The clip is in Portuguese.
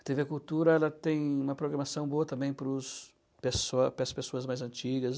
A tê vê Cultura, ela tem uma programação boa também para os pessoa para as pessoas mais antigas.